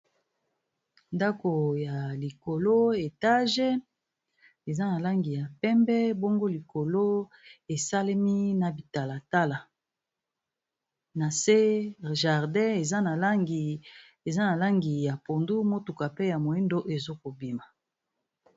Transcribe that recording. Ndako ya likolo etage eza na langi ya pembe bongo likolo esalemi na bitalatala na se jardin eza na langi ya pondu motuka pe ya moyindo ezokobima.